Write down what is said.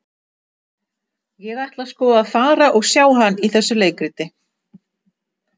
Ég ætla sko að fara og sjá hann í þessu leikriti.